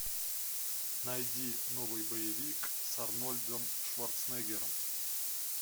найди новый боевик с арнольдом шварценеггером